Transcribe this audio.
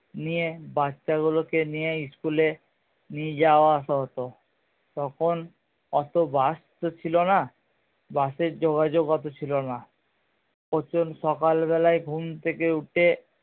নিয়ে বাচ্চা গুলো কে নিয়ে school এ নিয়ে যাওয়া আসা হতো তখন অত বাস তো ছিলো না বাসের যোগাযোগ অত ছিলো না প্রচুর সকাল বেলায় ঘুম থেকে